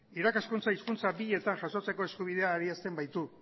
irakaskuntza hizkuntza bietan jasotzeko eskubidea adierazten baitu